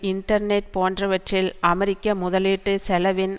internet போன்றவற்றில் அமெரிக்க முதலீட்டு செலவின்